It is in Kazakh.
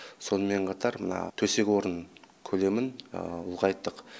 сонымен қатар мына төсек орын көлемін ұлғайттық